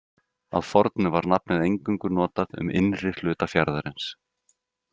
Að fornu var nafnið eingöngu notað um innri hluta fjarðarins.